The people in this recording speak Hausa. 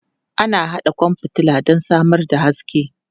Ana haɗa kwan fitila don samar da haske.